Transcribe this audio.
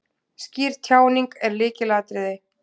Skýr tjáning er lykilatriði.